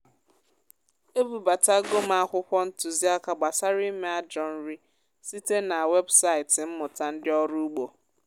e bubatago m akwụkwọ ntuziaka gbasara ime ajọ nri site na webụsaịtị mmụta ndị ọrụ ugbo.